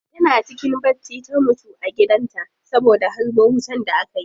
Tana cikin bacci ta mutu a gidan ta saboda harbo wutan da aka yi